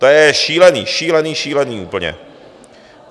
To je šílené, šílené, šílené úplně.